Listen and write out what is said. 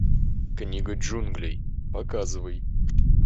книга джунглей показывай